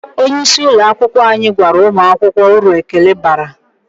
Onye isi ụlọ akwụkwọ anyị gwara ụmụ akwụkwọ uru ekele bara.